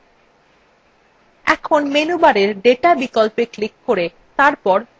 এখন menubar data বিকল্পে click করে তারপরে filterএ click করুন